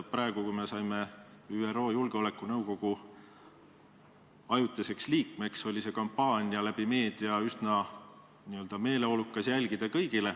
Kui me saime ÜRO Julgeolekunõukogu ajutiseks liikmeks, siis oli kõigil seda kampaaniat üsna meeleolukas meedia kaudu jälgida.